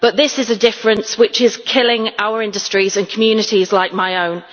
But this is a difference which is killing our industries and communities like my own.